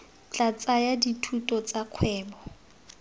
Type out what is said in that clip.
tla tsaya dithuto tsa kgwebo